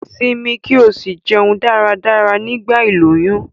Simi ki o si jeun dáradára nigba iloyun